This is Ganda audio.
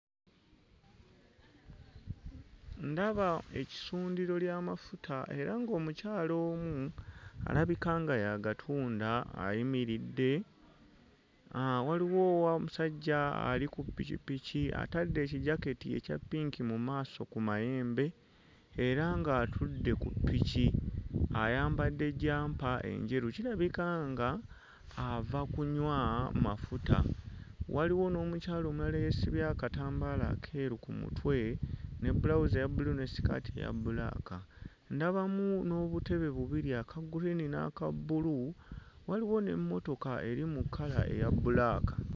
Ndaba essundiro ly'amafuta era ng'omukyala omu alabika nga y'agatunda ayimiridde uh waliwo wa omusajja ali ku ppikipiki atadde ekijaketi ekya ppinki mu maaso ku mayembe era ng'atudde ku ppiki ayambadde jjampa enjeru kirabika nga ava kunywa mafuta waliwo n'omukyala omulala eyeesibye akatambaala akeeru ku mutwe ne bbulawuzi eya bbulu ne sikaati eya bbulaaka ndabamu n'obutebe bubiri aka gguliini n'aka bbulu waliwo n'emmotoka eri mu kkala eya bbulaaka.